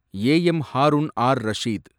A M Haroon R Rashid